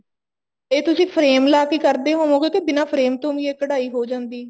ਇਹ ਤੁਸੀਂ frame ਲਾਕੇ ਕਰਦੇ ਹੋਵੋਂਗੇ ਕੇ ਬਿਨਾ frame ਤੋਂ ਵੀ ਇਹ ਕਢਾਈ ਹੋ ਜਾਂਦੀ ਹੈ